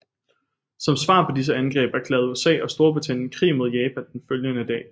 Som svar på disse angreb erklærede USA og Storbritannien krig mod Japan den følgende dag